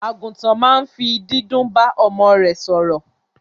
Àgùntàn ma n fi dídún ba ọmọ rẹ sòrò